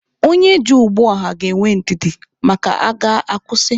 Onye ji ụgbọ ọha aga ga-enwe ndidi maka a gaa, a kwụsị.